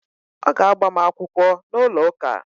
Ọ ga-agbam akwụkwọ n’ụlọ ụka